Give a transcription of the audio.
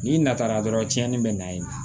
N'i natara dɔrɔn tiɲɛni bɛ na ye